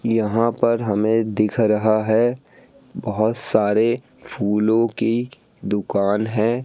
यहां पर हमें दिख रहा है बहोत सारे फूलों की दुकान है।